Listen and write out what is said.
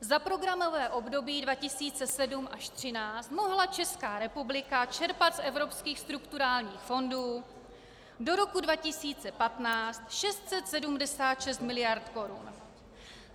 Za programové období 2007 až 2013 mohla Česká republika čerpat z evropských strukturálních fondů do roku 2015 676 mld. korun.